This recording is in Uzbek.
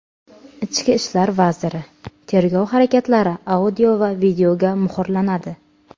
Ichki ishlar vaziri: Tergov harakatlari audio va videoga muhrlanadi.